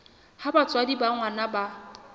ha batswadi ba ngwana ba